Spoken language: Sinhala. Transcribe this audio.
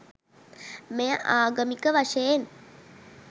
මෙය ආගමික වශයෙන්